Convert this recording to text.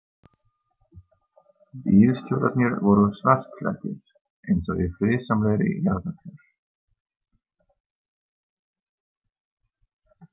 Bílstjórarnir voru svartklæddir, eins og í friðsamlegri jarðarför.